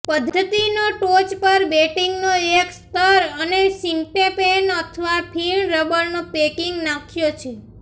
પદ્ધતિની ટોચ પર બેટિંગનો એક સ્તર અને સિન્ટેપેન અથવા ફીણ રબરનો પેકિંગ નાખ્યો છે